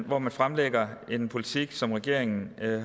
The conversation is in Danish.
hvor man fremlægger en politik som regeringen